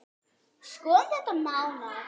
Skoðum þetta nánar